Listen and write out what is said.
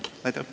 Aitäh!